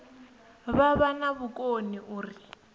vha vha na vhukoni uri